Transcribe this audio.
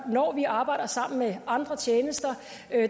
når vi arbejder sammen med andre tjenester